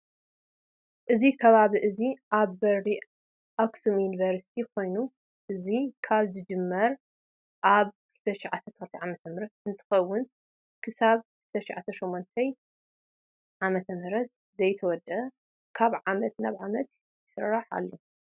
እዚ ከባቢ እዚ ኣብ በሪ ኣክሱም ዩኒቨርስቲ ኮይኑ እዚካበ ዝጅመር ኣብ 2012 ዓ.ም እንትከውን ክሳበ 2018 ዓ.ም ዘይተወደኣ ካብ ዓመት ናብ ዓመት ይሰግር ኣሎ።